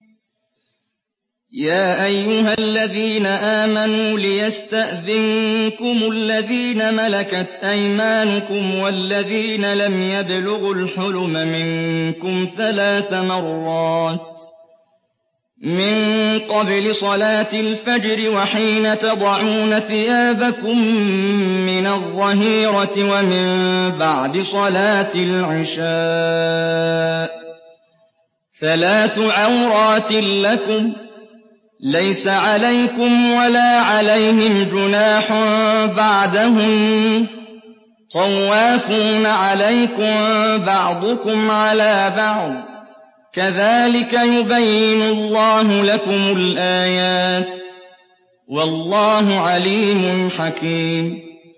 يَا أَيُّهَا الَّذِينَ آمَنُوا لِيَسْتَأْذِنكُمُ الَّذِينَ مَلَكَتْ أَيْمَانُكُمْ وَالَّذِينَ لَمْ يَبْلُغُوا الْحُلُمَ مِنكُمْ ثَلَاثَ مَرَّاتٍ ۚ مِّن قَبْلِ صَلَاةِ الْفَجْرِ وَحِينَ تَضَعُونَ ثِيَابَكُم مِّنَ الظَّهِيرَةِ وَمِن بَعْدِ صَلَاةِ الْعِشَاءِ ۚ ثَلَاثُ عَوْرَاتٍ لَّكُمْ ۚ لَيْسَ عَلَيْكُمْ وَلَا عَلَيْهِمْ جُنَاحٌ بَعْدَهُنَّ ۚ طَوَّافُونَ عَلَيْكُم بَعْضُكُمْ عَلَىٰ بَعْضٍ ۚ كَذَٰلِكَ يُبَيِّنُ اللَّهُ لَكُمُ الْآيَاتِ ۗ وَاللَّهُ عَلِيمٌ حَكِيمٌ